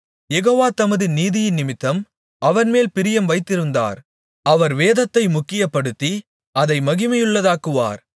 யெகோவா தமது நீதியினிமித்தம் அவன்மேல் பிரியம் வைத்திருந்தார் அவர் வேதத்தை முக்கியப்படுத்தி அதை மகிமையுள்ளதாக்குவார்